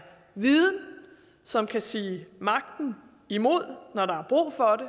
viden som kan sige magten imod